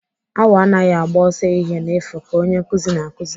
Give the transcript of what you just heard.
Awọ anaghị agba ọsọ ehihie n'efu ka Onye nkụzi na-akụzi.